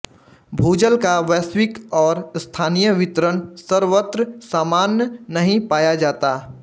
भूजल का वैश्विक और स्थानीय वितरण सर्वत्र सामान नहीं पाया जाता